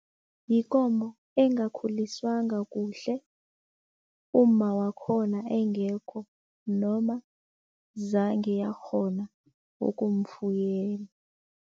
Yikomo engakhuliswanga kuhle, umma wakhona engekho noma zange yakghona .